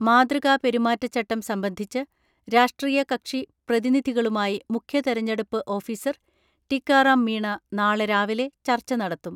മാതൃകാ പെരുമാറ്റച്ചട്ടം സംബന്ധിച്ച് രാഷ്ട്രീയ കക്ഷി പ്രതിനിധികളുമായി മുഖ്യ തെരഞ്ഞെടുപ്പ് ഓഫീസർ ടീക്കാറാം മീണ നാളെ രാവിലെ ചർച്ച നടത്തും.